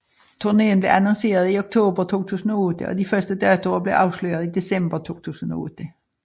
Turnéen blev annonceret i oktober 2008 og de første datoer blev afsløret i december 2008